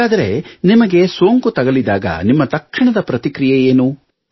ಹಾಗಾದರೆ ನಿಮಗೆ ಸೋಂಕು ತಗುಲಿದಾಗ ನಿಮ್ಮ ತಕ್ಷಣದ ಪ್ರತಿಕ್ರಿಯೆ ಏನು